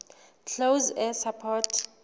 close air support